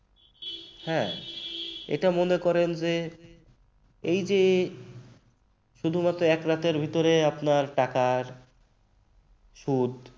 হ্যাঁ এটা মনে করেন যে এই যে শুধু এক রাতের ভেতরে আপনার টাকার সুদ